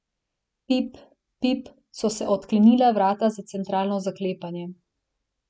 Pip pip, so se odklenila vrata na centralno zaklepanje.